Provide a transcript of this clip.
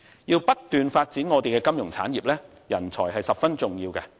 要不斷發展我們的金融產業，人才是十分重要。